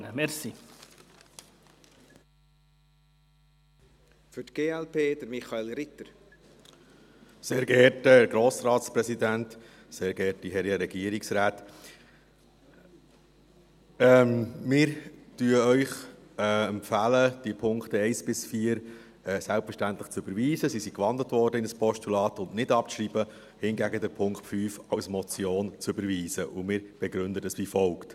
Wir empfehlen Ihnen, die Punkte 1 bis 4 selbstverständlich zu überweisen – sie sind in ein Postulat gewandelt worden und nicht abzuschreiben –, hingegen den Punkt 5 als Motion zu überweisen, und wir begründen dies wie folgt: